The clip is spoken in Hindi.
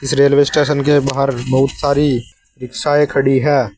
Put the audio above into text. रेलवे स्टेशन के बाहर बहुत सारी रिक्शायें खड़ी है।